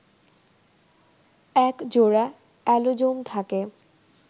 ১ জোড়া অ্যালোজোম থাকে